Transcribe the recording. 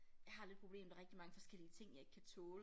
Jeg har det problem der rigtig mange forskellige ting jeg ikke kan tåle